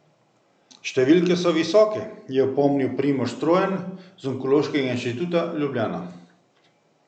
Številke so visoke, je opomnil Primož Strojan z Onkološkega inštituta Ljubljana.